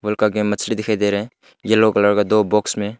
उनका के मछली दिखाई दे रहे हैं येलो कलर का दो बॉक्स में--